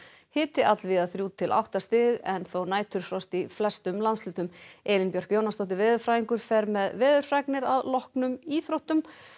hiti allvíða þrjú til átta stig en þó næturfrost í landshlutum Elín Björk Jónasdóttir veðurfræðingur fer með veðurfregnir að loknum íþróttum